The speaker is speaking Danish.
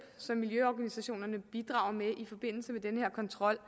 som miljøorganisationerne bidrager med i forbindelse med denne kontrol